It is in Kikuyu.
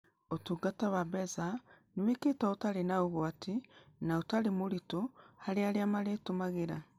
Ũtungatawa mbeca nĩ wĩkĩtwo ũtarĩ na ũgwati na ũtarĩ mũritũ harĩ arĩa marũtũmagĩra.